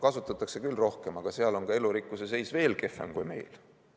Kasutatakse küll rohkem, aga seal on ka elurikkuse seis kehvem kui meil.